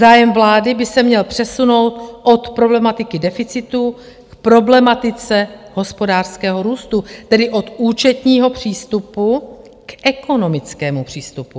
Zájem vlády by se měl přesunout od problematiky deficitu k problematice hospodářského růstu, tedy od účetního přístupu k ekonomickému přístupu.